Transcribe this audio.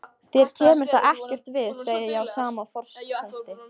Þér kemur það ekkert við, segi ég á sama frostpunkti.